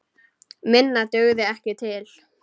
Minna dugði ekki til.